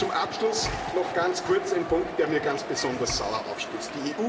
Und zum Abschluss noch ganz kurz ein Punkt, der mir ganz besonders sauer aufstößt.